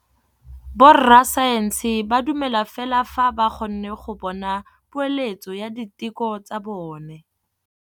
Borra saense ba dumela fela fa ba kgonne go bona poeletsô ya diteko tsa bone.